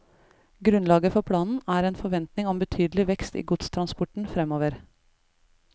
Grunnlaget for planen er en forventning om betydelig vekst i godstransporten fremover.